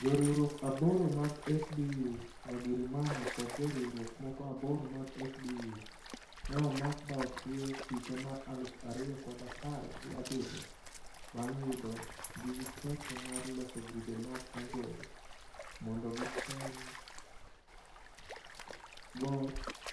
jo riwruok aboro mag FDU Twagirimana kod jo riwruok moko aboro mag FDU.ne omak ba otwe higa mar aluf ariyo kod apar gi abirio bang yudo gi gi ketho mar loso grube mag anjore. mondo kitem